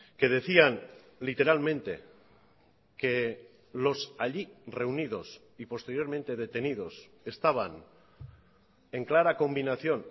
que decían literalmente que los allí reunidos y posteriormente detenidos estaban en clara combinación